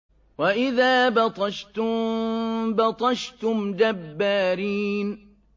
وَإِذَا بَطَشْتُم بَطَشْتُمْ جَبَّارِينَ